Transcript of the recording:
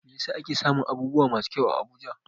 Me yasa ake samun abubuwa masu kyau a Abuja?